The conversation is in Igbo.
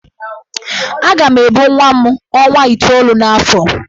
Aga m ebu nwa m ọnwa itoolu n'afọ.